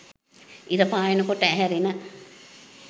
ඉර පායන කොට ඇහැරෙන